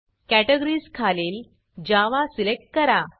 categories categories खालील Java Java select करा